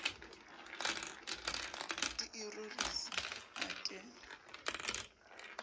di e rorisa a ke